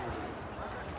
Qaç, qaqa.